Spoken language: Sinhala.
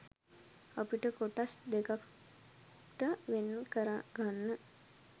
අපිට කොටස් දෙකක්ට වෙන් කරගන්න